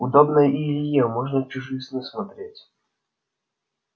удобно и илье можно чужие сны смотреть